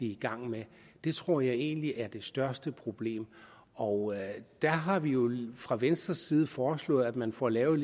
i gang med det tror jeg egentlig er det største problem og der har vi jo fra venstres side foreslået at man får lavet